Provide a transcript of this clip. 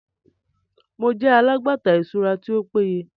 Mo jẹ alagbata iṣura ti o peye